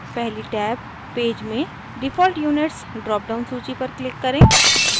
पहली tab page में default units drop down सूची पर click करें